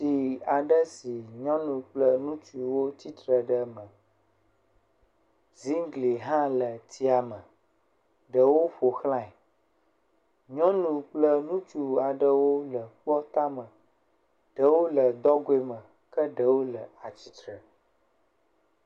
Ŋutsu ɖeka nɔ anyi ɖe zikpui dzi, ele mobile fone ɖe asi, edo atalegbe yibɔ, ekpla bagi ɖe, nanewo le ekplɔ dzi ele gbɔ eye wokɔ machine na ɖe kɔ da ɖe eɖokui gbɔ.